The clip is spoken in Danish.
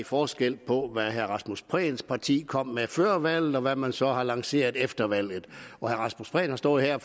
forskel på hvad herre rasmus prehns parti kom med før valget og hvad man så har lanceret efter valget og herre rasmus prehn har stået her